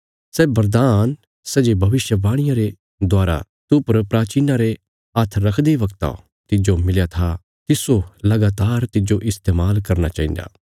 सै वरदान्न सै जे भविष्यवाणिया रे दवारा तूह पर प्राचीनां रे हाथ रखदे बगता तिज्जो मिलया था तिस्सो लगातार तिज्जो इस्तेमाल करना चाहिन्दा